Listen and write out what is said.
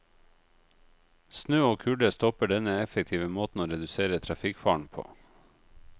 Snø og kulde stopper denne effektive måten å redusere trafikkfaren på.